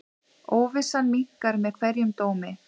Óvissan minnkar með hverjum dómi.